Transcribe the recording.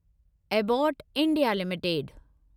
Abbott India limited